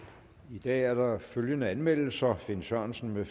i dag er der følgende anmeldelser finn sørensen